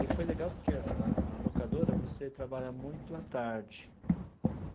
E foi legal porque a a a locadora, você trabalha muito à tarde.